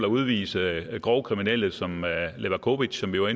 udvise grove kriminelle som levakovic som vi var